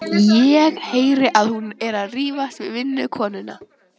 Ég heyri að hún er að rífast við vinnukonuna.